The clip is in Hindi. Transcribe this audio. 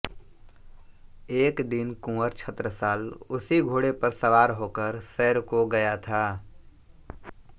एक दिन कुँवर छत्रसाल उसी घोड़े पर सवार होकर सैर को गया था